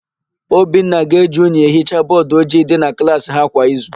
Obinna na-eji unyi ehicha bọọdụ ojii dị na klaasị ha kwa izu.